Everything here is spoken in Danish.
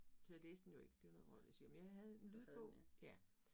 Så jeg læste den jo ikke, det jo noget vrøvl jeg siger, men jeg havde en lydbog